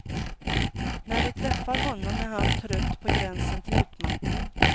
När vi träffar honom är han trött på gränsen till utmattning.